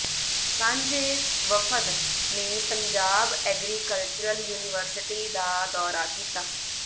ਸਾਂਝੇ ਵਫ਼ਦ ਨੇ ਪੰਜਾਬ ਐਗਰੀਕਲਚਰਲ ਯੂਨੀਵਰਸਿਟੀ ਦਾ ਦੌਰਾ ਕੀਤਾ